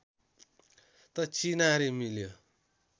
त चिनारी मिल्यो